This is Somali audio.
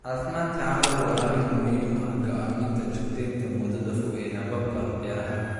Caafimaadka carradu waa arrin muhiim u ah go'aaminta joogteynta muddada fog ee hababka beeraha.